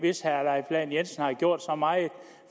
hvis herre leif lahn jensen havde gjort så meget